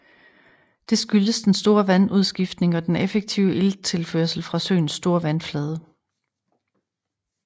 Det skyldes den store vandudskiftning og den effektive ilttilførsel fra søens store vandflade